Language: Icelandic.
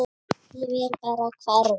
Ég vil bara hverfa.